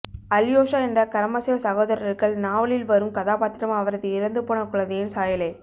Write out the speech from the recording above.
Alyosha என்ற Karamazov சகோதரர்கள் நாவலில் வரும் கதாபாத்திரம் அவரது இறந்துபோன குழந்தையின் சாயலே